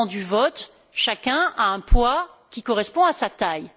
Au moment du vote, chacun a un poids qui correspond à sa taille.